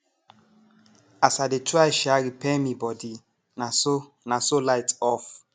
as i dey try um repair mi bodi naso naso light off